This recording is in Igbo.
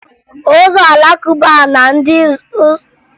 Ụzọ Alakụba na ndị ụzọ Krịịstị bụ okpukperechi ndị a ka maa ama na Naịjiria